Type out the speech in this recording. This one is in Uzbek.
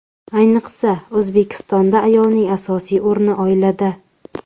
Ayniqsa, O‘zbekistonda ayolning asosiy o‘rni oilada.